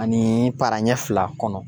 Ani para ɲɛ fila kɔnɔ.